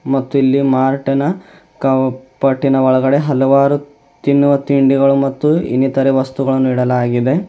ಮತ್ತು ಇಲ್ಲಿ ಮಾರ್ಟ್ ನ ಕಾಪಾಟಿನ ಒಳಗಡೆ ಹಲವಾರು ತಿನ್ನುವ ತಿಂಡಿಗಳು ಮತ್ತು ಇನ್ನಿತರೆ ವಸ್ತುಗಳನ್ನು ಇಡಲಾಗಿದೆ.